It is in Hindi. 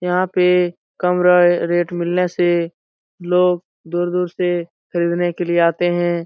यहाँ पे कम र रेट मिलने से लोग दूर-दूर से खरीदने के लिए आते हैं।